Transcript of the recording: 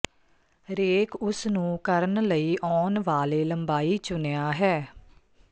ਰੇਕ ਉਸ ਨੂੰ ਕਰਨ ਲਈ ਆਉਣ ਵਾਲੇ ਲੰਬਾਈ ਚੁਣਿਆ ਹੈ